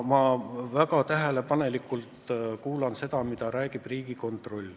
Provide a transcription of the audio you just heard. Ma väga tähelepanelikult kuulan, mida räägib Riigikontroll.